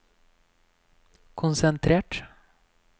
konsentrert